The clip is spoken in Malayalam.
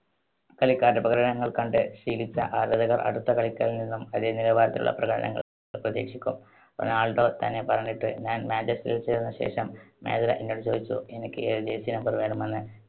കളിക്കാരുടെ പ്രകടനങ്ങൾ കണ്ട് ശീലിച്ച ആരാധകർ അടുത്ത കളിക്കാരനിൽ നിന്നും അതേ നിലവാരത്തിലുള്ള പ്രകടനങ്ങൾ പ്ര~പ്രതീക്ഷിക്കും. റൊണാൾഡോ തന്നെ പറഞ്ഞിട്ട്, ഞാൻ manchester ൽ ചേർന്ന ശേഷം manager എന്നോട് ചോദിച്ചു എനിക്ക് ഏത് jersey number വേണമെന്ന്.